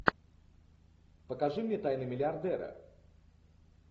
покажи мне тайны миллиардера